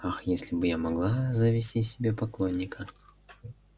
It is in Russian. ах если бы я могла завести себе поклонника